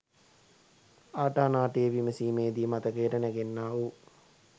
ආටා නාටිය විමසීමේදි මතකයට නැගෙන්නා වූ